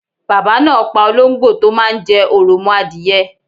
Baba náa pa olóngbò tó máa n jẹ òròmoadìye